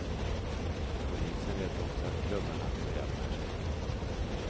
Polisen vet också att klubbarna beväpnar sig.